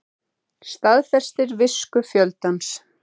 Staðfestir visku fjöldans